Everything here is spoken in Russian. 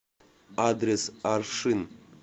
адрес аршин